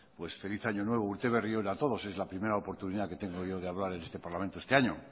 pues feliz año nuevo urte berri on a todos es la primera oportunidad que tengo yo de hablar en este parlamento este año